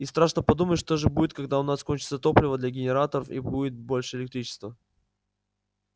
и страшно подумать что же будет когда у нас кончится топливо для генераторов и будет больше электричества